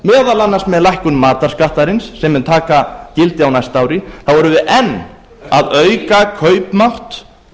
meðal annars með lækkum matarskattarins sem mun taka gildi á næsta ári þá erum við enn að auka kaupmátt